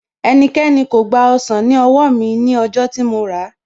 Ẹnikẹ́ni kò gba ọsàn ní owó mi ní ọjọ́ tí mo ràá